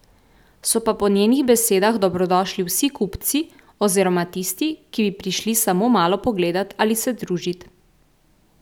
So pa po njenih besedah dobrodošli vsi kupci oziroma tisti, ki bi prišli samo malo pogledat ali se družit.